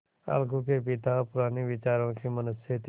अलगू के पिता पुराने विचारों के मनुष्य थे